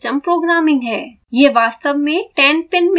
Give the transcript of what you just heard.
यह वास्तव में 10 pin male connector है